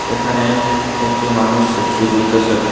এখানে একটি মানুষ সেলফি তুলতেসে।